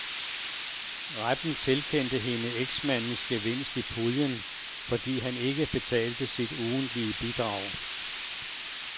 Retten tilkendte hende eksmandens gevinst i puljen, fordi han ikke betalte sit ugentlige bidrag.